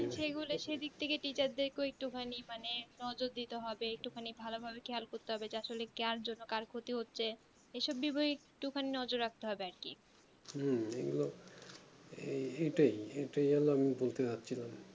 হুম এগুলো এটাই এটাই আমি বলতে যাচ্ছিলাম